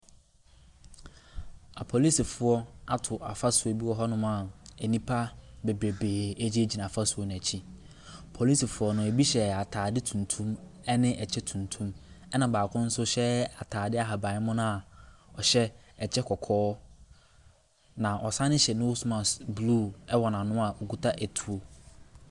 Apolisifoɔ ato afasuo bi wɔ hɔnom a nnipa bebrebee gyinagyina fasuo no akyi. Apolisifoɔ no, ebi hyɛ atade tuntum ne kyɛ tuntum, ɛnna baako nso hyɛ atade ahaban mono a ɔhyɛ kyɛ kɔkɔɔ, na ɔsane nso hyɛ nose mask blue wɔ n'ano a ɔkuta etuo.